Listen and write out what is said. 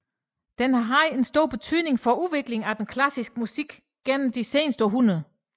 Den har haft en stor betydning for udviklingen af den klassiske musik gennem de seneste hundrede år